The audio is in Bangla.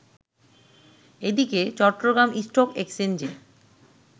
এদিকে চট্টগ্রাম স্টক এক্সচেঞ্জে